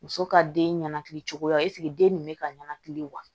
Muso ka den ɲɛnɛkili cogoya den nin bɛ ka ɲanakili wa